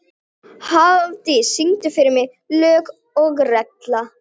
Brjálæði að hlaupa alla þessa leið.